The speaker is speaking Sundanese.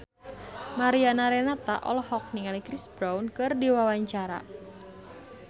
Mariana Renata olohok ningali Chris Brown keur diwawancara